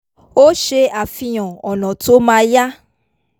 ó ṣe àfihàn ọ̀nà tó ma yá